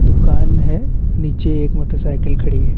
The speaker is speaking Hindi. दुकान है नीचे एक मोटर सायकल खड़ी है।